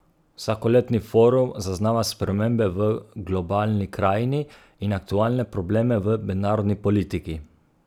Vsakoletni forum zaznava spremembe v globalni krajini in aktualne probleme v mednarodni politiki.